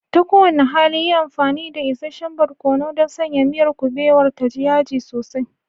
Ta kowane hali, yi amfani da isasshen barkono don sanya miyar kuɓewar ta ji yaji sosai.